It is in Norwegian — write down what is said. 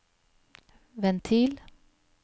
ventil